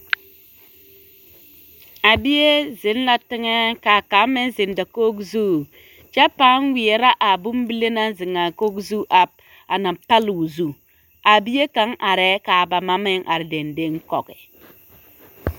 A bie zeŋ la teŋɛ k'a kaŋa meŋ zeŋ dakogi zu kyɛ pãã weɛrɛ a bombile na naŋ zeŋ a kogi zu a na pale o zu, a bie kaŋ arɛɛ k'a ba ma meŋ are dendeŋ kɔge.